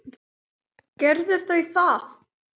Gerðu þau það.